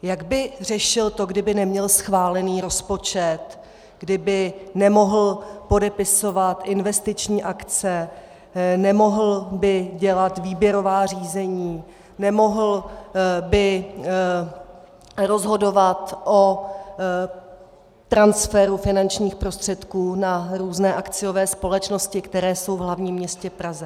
Jak by řešil to, kdyby neměl schválený rozpočet, kdyby nemohl podepisovat investiční akce, nemohl by dělat výběrová řízení, nemohl by rozhodovat o transferu finančních prostředků na různé akciové společnosti, které jsou v hlavním městě Praze?